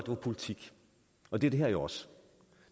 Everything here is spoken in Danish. var politik og det er det her jo også